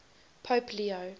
pope leo